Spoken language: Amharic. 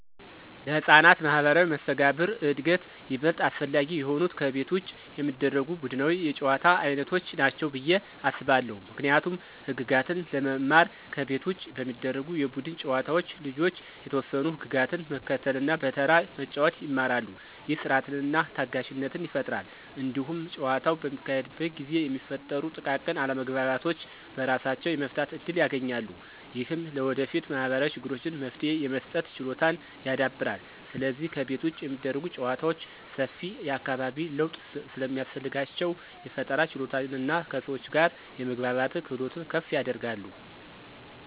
ለሕፃናት ማኅበራዊ መስተጋብር እድገት ይበልጥ አስፈላጊ የሆኑት ከቤት ውጭ የሚደረጉ ቡድናዊ የጨዋታ ዓይነቶች ናቸው ብዬ አስባለሁ። ምክንያቱም ህግጋትን ለመማር ከቤት ውጭ በሚደረጉ የቡድን ጨዋታዎች ልጆች የተወሰኑ ህግጋትን መከተልና በተራ መጫወት ይማራሉ። ይህ ሥርዓትንና ታጋሽነትን ይፈጥራል። እንዲሁም ጨዋታው በሚካሄድበት ጊዜ የሚፈጠሩ ጥቃቅን አለመግባባቶችን በራሳቸው የመፍታት እድል ያገኛሉ። ይህም ለወደፊት ማኅበራዊ ችግሮች መፍትሄ የመስጠት ችሎታን ያዳብራል። ስለዚህ ከቤት ውጭ የሚደረጉ ጨዋታዎች ሰፊ የአካባቢ ለውጥ ስለሚያስፈልጋቸው፣ የፈጠራ ችሎታንና ከሰዎች ጋር የመግባባትን ክህሎት ከፍ ያደርጋሉ።